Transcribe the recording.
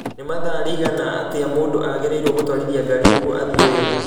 nĩ mathaa rĩigana atĩa mũndũ agĩrĩirũo gũtwarithia ngari nĩguo athiĩ wĩra